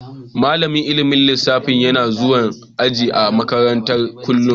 Malamin ilmin lissafi yana zuwan aji a makere kullum.